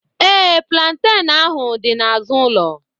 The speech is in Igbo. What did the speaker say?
Ee, plantain ahu dị n'azụ ụlọ.